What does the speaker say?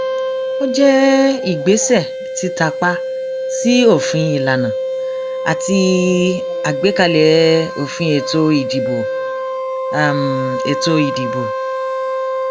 ó jẹ ìgbésẹ títàpá sí òfin ìlànà àti àgbékalẹ òfin ètò ìdìbò ètò ìdìbò